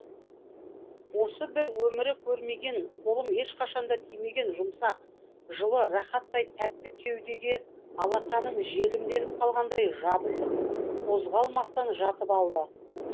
осы бір өмірі көрмеген қолым ешқашанда тимеген жұмсақ жылы рахаттай тәтті кеудеге алақаным желімделіп қалғандай жабысып қозғалмастан жатып алды